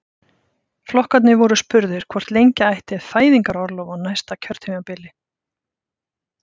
Flokkarnir voru spurðir hvort lengja ætti fæðingarorlofið á næsta kjörtímabili?